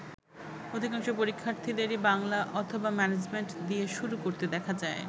অধিকাংশ পরীক্ষার্থীদেরই বাংলা অথবা ম্যানেজমেন্ট দিয়ে শুরু করতে দেখা যায়।